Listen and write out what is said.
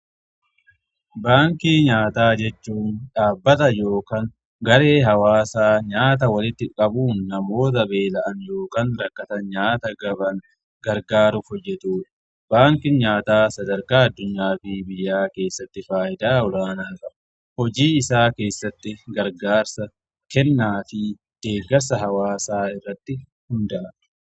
Baankii nyaataa jechuun dhaabbata yookaan garee hawaasaa nyaata walitti qabuun namoota beela'an yookaan rakkatan nyaata gaban gargaaruuf hojjeetu. Baankiin nyaataa sadarkaa addunyaa fi biyyaa keessatti faayidaa olaanaa qaba. Hojii isaa keessatti gargaarsa, kennaa fi deeggarsa hawaasaa irratti hundaa'a.